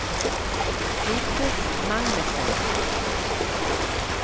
Vigdis Magnussen